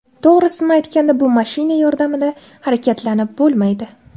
To‘g‘risini aytganda, bu mashina yordamida tez harakatlanib bo‘lmaydi.